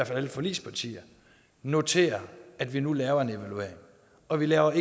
fald alle forligspartier noterede at vi nu laver en evaluering og vi laver